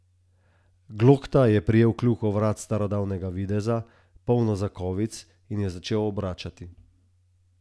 Glokta je prijel kljuko vrat starodavnega videza, polno zakovic, in jo začel obračati.